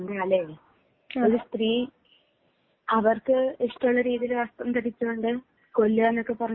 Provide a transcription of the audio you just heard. എന്താല്ലേ ഒരു സ്ത്രീയെ അവർക്ക് ഇഷ്ടമുള്ള രീതിയിൽ വസ്ത്രം ധരിച്ചത് കൊണ്ട് കൊല്ലുക എന്നൊക്കെ പറഞ്ഞാൽ